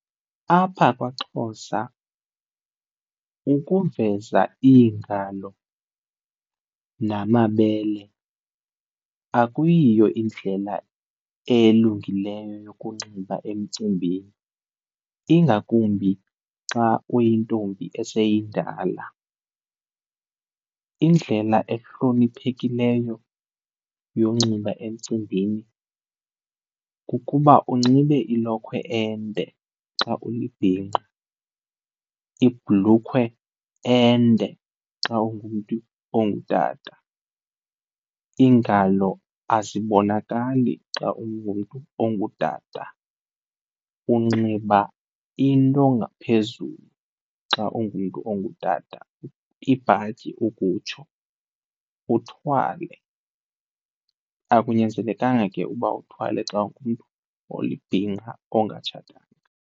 Apha kwaXhosa ukuveza iingalo namabele akuyiyo indlela elungileyo yokunxiba emcimbini, ingakumbi xa uyintombi eseyindala. Indlela ehloniphekileyo yonxiba emcimbini kukuba unxibe ilokhwe ende xa ulibhinqa, ibhlukhwe ende xa ungumntu ongutata. Iingalo azibonakali xa ungumntu ongutata, unxiba into ngaphezulu xa ungumntu ongutata, ibhatyi ukutsho, uthwale. Akunyanzelekanga ke uba uthwale xa ungumntu olibhinqa ongatshatanga.